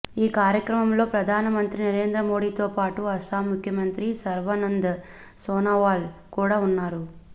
ఈ కార్యక్రమంలో ప్రధాన మంత్రి నరేంద్ర మోడీతోపాటు అస్సాం ముఖ్యమంత్రి సర్వానంద్ సోనోవాల్ కూడా ఉన్నారు